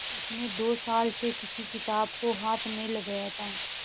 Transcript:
उसने दो साल से किसी किताब को हाथ नहीं लगाया था